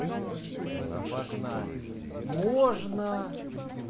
но не суть в этом важна можно